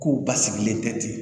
Kow basigilen tɛ ten